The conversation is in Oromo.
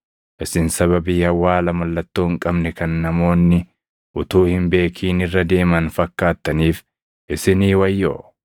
“Isin sababii awwaala mallattoo hin qabne kan namoonni utuu hin beekin irra deeman fakkaattaniif isinii wayyoo!”